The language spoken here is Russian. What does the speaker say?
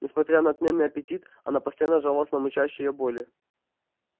несмотря на отменный аппетит она постоянно жаловалась на мучащие её боли